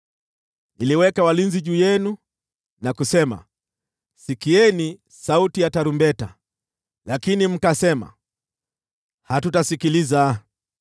Niliweka walinzi juu yenu na kusema, ‘Sikieni sauti ya tarumbeta!’ Lakini mkasema, ‘Hatutasikiliza.’